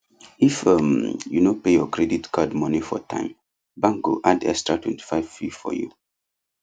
if um you no pay your credit card money for time bank go add extra 25 fee for you